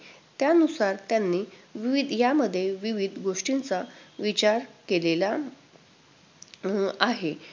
त्यानुसार त्यांनी विवीध~ यामध्ये विविध गोष्टींचा विचार केलेला अं आहे.